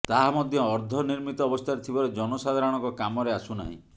ତାହା ମଧ୍ୟ ଅର୍ଦ୍ଦନିର୍ମିତ ଅବସ୍ଥାରେ ଥିବାରୁ ଜନସାଧାରଣଙ୍କ କାମରେ ଆସୁନାହିଁ